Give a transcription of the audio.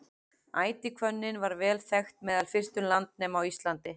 ætihvönnin var vel þekkt meðal fyrstu landnema á íslandi